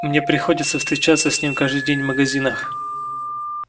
мне приходится встречаться с ним каждый день в магазинах